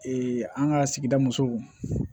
an ka sigi musow